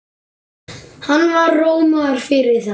Hann var rómaður fyrir það.